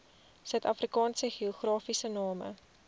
suidafrikaanse geografiese name